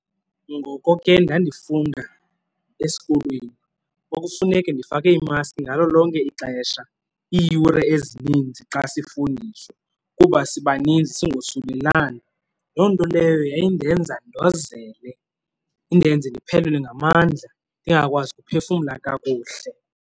Ngoko ke ndandifunda esikolweni kwakufuneke ndifake imaski ngalo lonke ixesha iiyure ezininzi xa sifundiswa kuba sibaninzi, singosulelani. Loo nto leyo yayindenza ndozele indenze ndiphelelwe ngamandla ndingakwazi ukuphefumla kakuhle.